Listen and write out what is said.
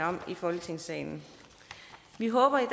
om i folketingssalen vi håber i